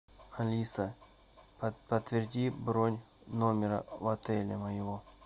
алиса подтверди бронь номера в отеле моего